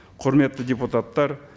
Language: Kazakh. құрметті депутаттар